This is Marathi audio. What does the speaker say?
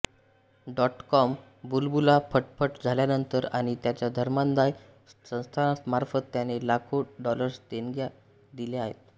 डॉटकॉम बुलबुला फटफट झाल्यानंतर आणि त्याच्या धर्मादाय संस्थांमार्फत त्याने लाखो डॉलर्स देणग्या दिल्या आहेत